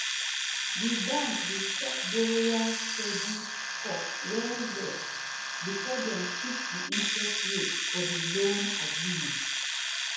the bank dey check borrower's credit score well well before dem fix the interest rate for the loan agreement.